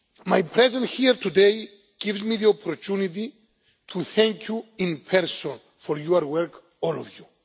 My presence here today gives me the opportunity to thank you in person for your work, all of